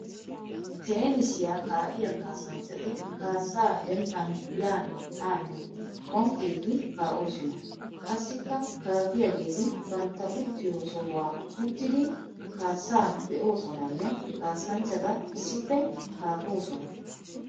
Teenissiya kaa'iyaa kaassanchchatti kaassa dembban yaane haane phonqqiddi kaa'ossonna. Qassikka kaafiyagetti bantta uttiyo sohuwa uttiddi kaassa be'ossonanne kaassanchchatta issippe kaafosonna.